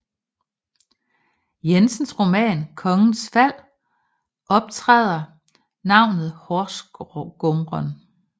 Jensens roman Kongens Fald optræder navnet horsgumren